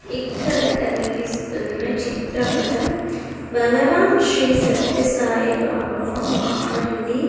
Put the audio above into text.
ఇక్కడ కనిపిస్తున్న చిత్రపటం భగవాన్ శ్రీ సత్య సాయి బాబా వారిది .